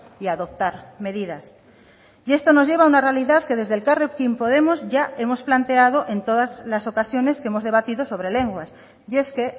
y a adoptar medidas y esto nos lleva a una realidad que desde elkarrekin podemos ya hemos planteado en todas las ocasiones que hemos debatido sobre lenguas y es que